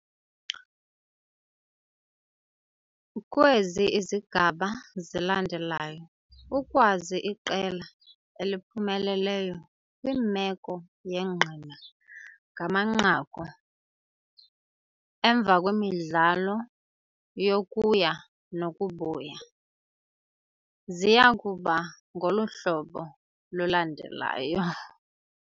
Kwezi izigaba zilandelayo ukwazi iqela eliphumeleleyo kwimeko yengqina ngamanqaku, emva kwemidlalo yokuya nokubuya, ziya kuba ngolu hlobo lulandelayo.